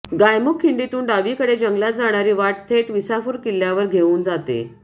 गायमुख खिंडीतून डावीकडे जंगलात जाणारी वाट थेट विसापूर किल्ल्यावर घेऊन जाते